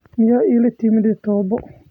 Miyaad ilatimade taboo?